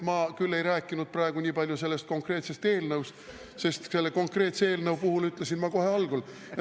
Ma küll ei rääkinud praegu niipalju sellest konkreetsest eelnõust, sest selle konkreetse eelnõu puhul ütlesin ma kohe algul …